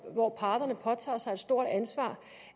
hvor parterne påtager sig et stort ansvar